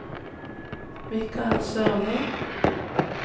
Mikael Sørli